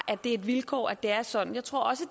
er et vilkår at det er sådan jeg tror også